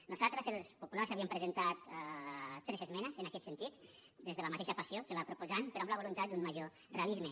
nosaltres els populars hi havíem presentat tres esmenes en aquest sentit des de la mateixa passió que la proposant però amb la voluntat d’un major realisme